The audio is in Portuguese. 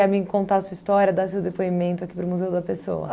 Para me contar a sua história, dar seu depoimento aqui para o Museu da Pessoa?